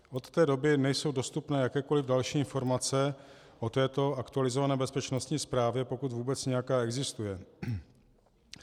Od té doby nejsou dostupné jakékoliv další informace o této aktualizované bezpečnostní zprávě, pokud vůbec nějaká existuje.